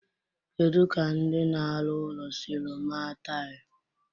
Kedu ka ndị na-arụ ụlọ siri maa taịlị?